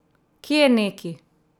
Kje neki!